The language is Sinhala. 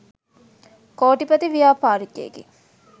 කෝටිපති ව්‍යාපාරිකයෙකි.